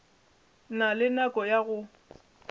na le nako ya go